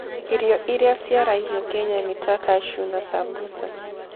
Irio iria ciaragio Kenya nĩ ta cashew na sambusa.